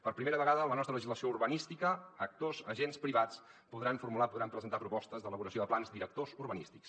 per primera vegada en la nostra legislació urbanística actors agents privats podran formular podran presentar propostes d’elaboració de plans directors urbanístics